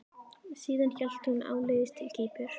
Síðan hélt hún áleiðis til Kýpur.